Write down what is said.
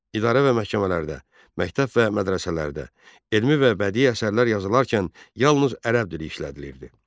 İdarə və məhkəmələrdə, məktəb və mədrəsələrdə elmi və bədii əsərlər yazılarkən yalnız ərəb dili işlədilirdi.